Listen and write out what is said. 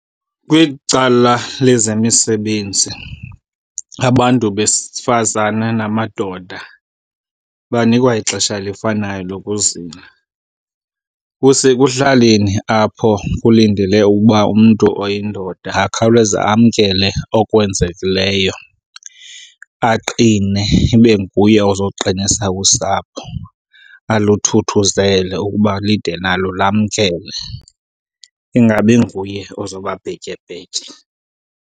Kwicala lezemisebenzi abantu besifazane namadoda banikwa ixesha elifanayo lokuzila. Kusekuhlaleni apho kulindele ukuba umntu oyindoda akhawuleze amkele okwenzekileyo, aqine ibe nguye ozoqinisa usapho, aluthuthuzele ukuba lide nalo lamkele. Ingabi nguye ozoba bhetyebhetye.